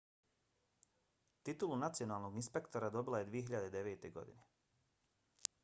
titulu nacionalnog inspektora dobila je 2009. godine